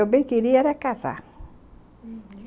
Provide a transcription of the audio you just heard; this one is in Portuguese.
Eu bem queria era casar, uhum.